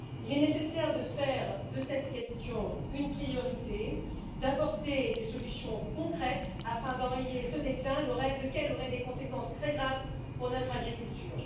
Il est nécessaire de faire de cette question une priorité, d'apporter des solutions concrètes afin d'enrayer ce déclin, lequel aurait des conséquences très graves pour notre agriculture.